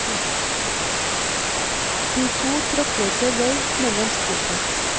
De to tråkler seg vei mellom skrotet.